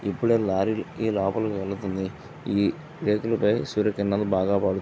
ఇప్పుడెే lorry లోపలికి వెళ్తుంది. ఈ రేకుల పై సూర్యకిరణాలు పడు --